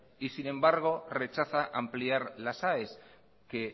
y sin embargo rechaza ampliar las aes que